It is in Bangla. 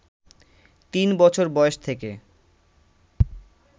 তিন বছর বয়স থেকে